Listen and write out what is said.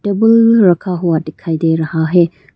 Table रखा हुआ दिखाई दे रहा है।